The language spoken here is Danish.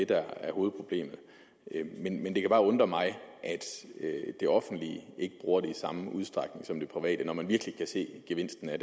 der er hovedproblemet men det kan bare undre mig at det offentlige ikke bruger det i samme udstrækning som det private gør når man virkelig kan se gevinsten af